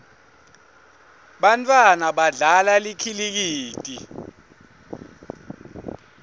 bantfwana badlala likhilikithi